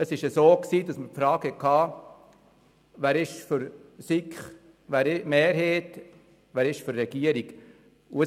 Wir wurden gefragt, wer für den Antrag der SiK-Mehrheit und wer für den Antrag der Regierung ist.